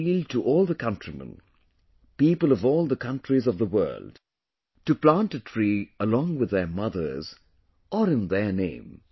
I have appealed to all the countrymen; people of all the countries of the world to plant a tree along with their mothers, or in their name